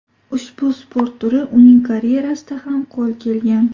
Ushbu sport turi uning karyerasida ham qo‘l kelgan.